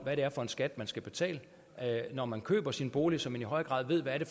hvad det er for en skat man skal betale når man køber sin bolig så man i højere grad ved hvad det